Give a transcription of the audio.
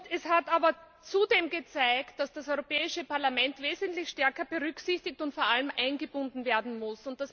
Es hat aber zudem gezeigt, dass das Europäische Parlament wesentlich stärker berücksichtigt und vor allem eingebunden werden muss.